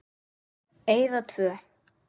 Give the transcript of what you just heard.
Eyða tvö.